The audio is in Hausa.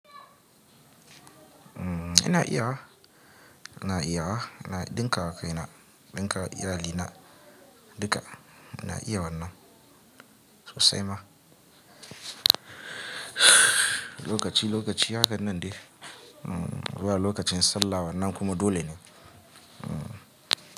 Ina iyawa, ina iyawa. Na dinka wakaina, dinkawa iyalina duka. Ina iya wannan sosai ma. Lokaci, lokaci hakan nan dai. Ba lokacin sallah wannan kuma dole ne.